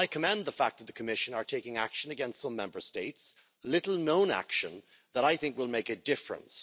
I commend the fact that the Commission is taking action against some Member States little known action that I think will make a difference.